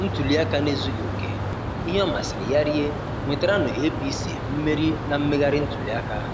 Ntuliaka na-ezughị oke- ihe ọ masịrị ya rie nwetaranụ APC mmeri na mmegharị ntuliaka.